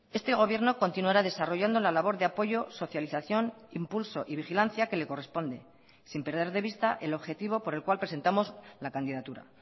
este gobierno continuará desarrollando la labor de apoyo socialización impulso y vigilancia que le corresponde sin perder de vista el objetivo por el cual presentamos la candidatura